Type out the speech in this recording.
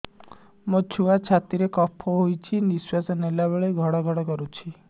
ମୋ ଛୁଆ ଛାତି ରେ କଫ ହୋଇଛି ନିଶ୍ୱାସ ନେଲା ବେଳେ ଘଡ ଘଡ କରୁଛି